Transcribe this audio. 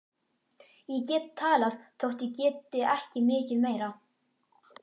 Ég get talað þótt ég geti ekki mikið meira.